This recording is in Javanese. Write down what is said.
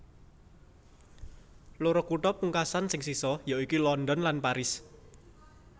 Loro kutha pungkasan sing sisa ya iku London lan Paris